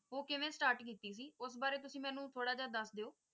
ਉਹ ਕਿਵੇਂ start ਕੀਤੀ ਸੀ? ਉਸ ਬਾਰੇ ਤੁਸੀ ਮੈਨੂੰ ਥੋੜਾ ਜੇਹਾ ਦੱਸ ਦੇਯੋ ।